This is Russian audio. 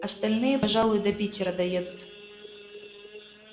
остальные пожалуй до питера доедут